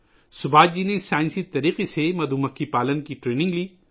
سبھاش جی نے سائنسی طریقے سے شہد کی مکھیاں پالنے کی تربیت لی